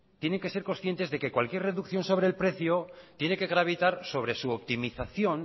tienen que ser conscientes que cualquier reducción sobre el precio tiene que gravitar sobre su optimización